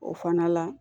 O fana la